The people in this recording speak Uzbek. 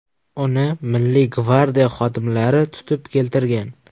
Uni Milliy gvardiya xodimlari tutib keltirgan.